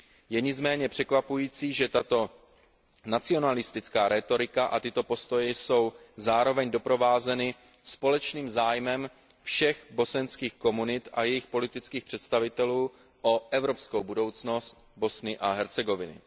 Je nicméně překvapující, že tato nacionalistická rétorika a tyto postoje jsou zároveň doprovázeny společným zájmem všech bosenských komunit a jejich politických představitelů o evropskou budoucnost Bosny a Hercegoviny.